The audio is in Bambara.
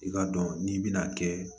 I k'a dɔn n'i bɛna kɛ